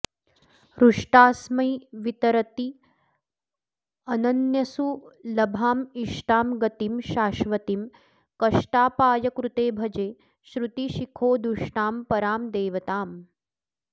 हृष्टास्मै वितरत्यनन्यसुलभामिष्टां गतिं शाश्वतीं कष्टापायकृते भजे श्रुतिशिखोदुष्टां परां देवताम्